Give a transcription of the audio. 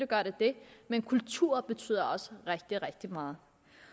gør det det men kultur betyder også rigtig rigtig meget